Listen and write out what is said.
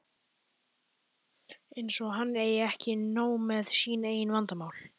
Eins og hann eigi ekki nóg með sín eigin vandamál!